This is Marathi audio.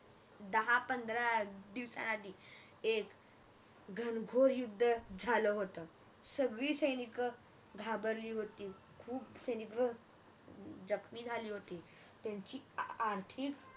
दहा पंधरा दिवसाआधी एक अह घनघोर युद्ध जल होत सगळी सैनिक हम्म घाबरली होती अह खूप सैनिक जखमी झाली होती त्यांची आर्थिक